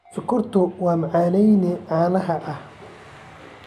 Sonkortu waa macaaneeye caan ah.